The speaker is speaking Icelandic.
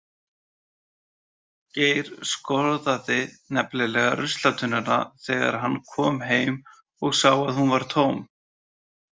Geir skoðaði nefnilega ruslatunnuna þegar hann kom heim og sá að hún var tóm.